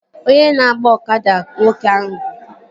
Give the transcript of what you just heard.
Onye na-agba ọkada ka nwoke ahụ bụ